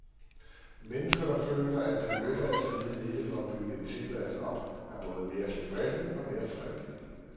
Mennesker, der føler, at det nytter at slide i det for at bygge en tilværelse op, er både mere tilfredse og mere fredelige.